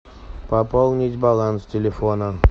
пополнить баланс телефона